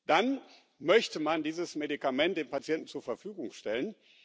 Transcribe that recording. Dann möchte man dieses Medikament dem Patienten zur Verfügung stellen.